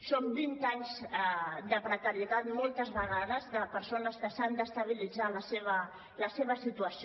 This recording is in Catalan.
són vint anys de precarietat moltes vegades de persones que han d’estabilitzar la seva situació